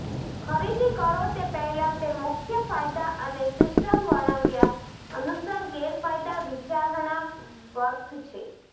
ખરીદી કરો તે પહેલાં તે મુખ્ય ફાયદા અને સિસ્ટમ વર્ણવ્યા અનુસાર ગેરફાયદા વિચારણા વર્થ છે